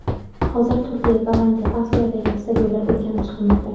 Hozir Turkiya, Gollandiya, Avstriyadagi stadionlar o‘rganib chiqilmoqda.